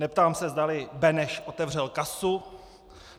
Neptám se, zdali Beneš otevřel kasu.